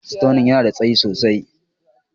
Staunin ya na da tsayi sosai.